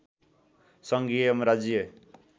सङ्घीय एवं राज्यीय